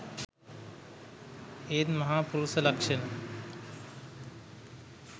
ඒත් මහා පුරුෂ ලක්ෂණ